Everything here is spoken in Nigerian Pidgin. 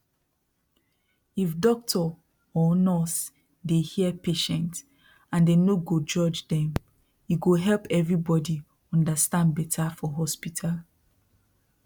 if doctor or nurse dey hear patient and dey no go judge dem e go help everybody understand better for hospital